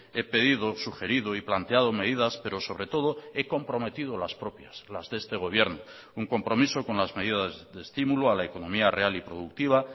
he pedido sugerido y planteado medidas pero sobre todo he comprometido las propias las de este gobierno un compromiso con las medidas de estímulo a la economía real y productiva